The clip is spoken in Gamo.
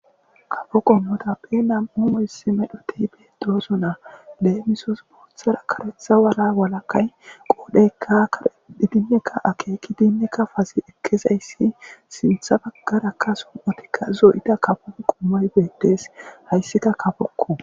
kafo qommota pe nam7u hissi medhotiy beetoosonaa leemisos boothara karetha wala walakay qoodheykka karedhi dinnekka akeeki dinnekka fazi ekkezayssi sintha baggarakka som7otikka zoyita kafo qommoy beettes hayssika kafokko